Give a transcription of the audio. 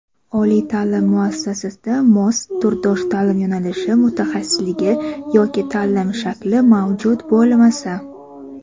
Oliy taʼlim muassasasida mos (turdosh) taʼlim yo‘nalishi (mutaxassisligi) yoki taʼlim shakli mavjud bo‘lmasa;.